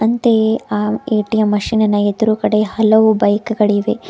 ಅಂತೆಯೇ ಆ ATM machine ಎದ್ರುಗಡೆ ಹಲವು ಬೈಕ್ ಗಳಿವೆ.